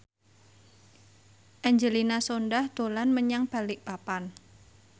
Angelina Sondakh dolan menyang Balikpapan